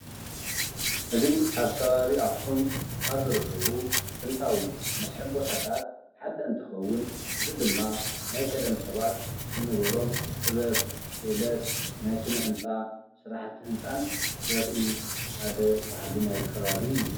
እዚ ኣብ ከባቢ ኣኽሱም ካብ ዝርከቡ ጥንታዊ መስሕብ ቦታታት ሓደ እንትኸውን እዚ ድማ ናይ ቀደም ሰባት ዝነበሮም ጥበብ ፣ ክእለት ናይ ስነ-ህንፃ ፣ስራሕቲ ህንፃን ዘርኢ ሓደ ባህሊ ናይቲ ኸባቢ እዩ፡፡